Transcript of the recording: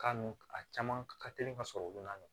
Ka n a caman ka teli ka sɔrɔ u na